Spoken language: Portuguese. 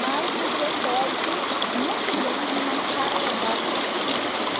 Mas você pode muito bem arrumar um cara legal que case com você.